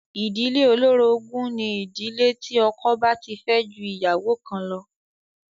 Ìdílé olórogún ni ìdílé tí ọkọ bá ti fẹ́ ju ìyàwó kan lọ.